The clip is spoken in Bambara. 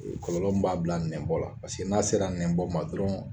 kɔlɔlɔ m b'a bila nɛnbɔ la paseke n'a sera nɛnbɔ ma dɔrɔn